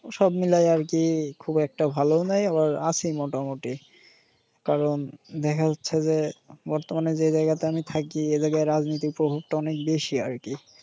সব মিলাইয়া আর কি খুব একটা ভালোও নেই আবার আছি মোটামুটি। কারণ দেখা হচ্ছে যে বর্তমানে যে জায়গাতে আমি থাকি এ জাগায় রাজনীতির প্রভাবটা অনেক বেশি আর কি।